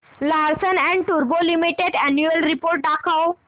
Larsen and टुर्बो limited annual report दाखव